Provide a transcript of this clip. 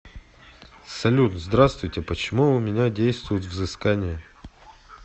салют здравствуйте почему у меня действует взыскание